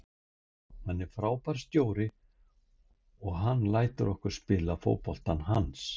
Hann er frábær stjóri og hann lætur okkur spila fótboltann hans.